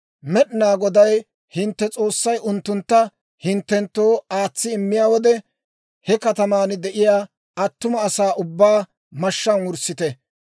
Med'inaa Goday hintte S'oossay unttuntta hinttenttoo aatsi immiyaa wode, he kataman de'iyaa attuma asaa ubbaa mashshaan wurssite.